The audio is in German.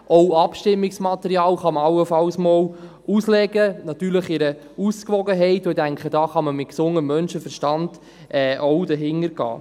Man kann allenfalls auch einmal Abstimmungsmaterial auslegen, natürlich in einer Ausgewogenheit, und ich denke, hier kann man auch mit gesundem Menschenverstand dahinter gehen.